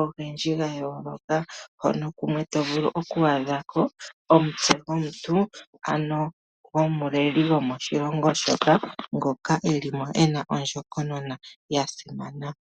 ogendji gayooloka hono kumwe to vulu okwaadha ko omutse gomuntu ano gomuleli gomoshilongo shoka ngoka eli mo ena ondjokonona ya simana.